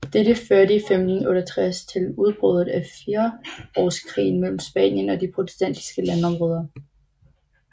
Dette førte i 1568 til udbruddet af firsårskrigen mellem Spanien og de protestantiske landområder